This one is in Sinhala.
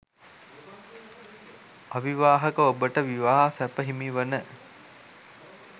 අවිවාහක ඔබට විවාහ සැප හිමිවන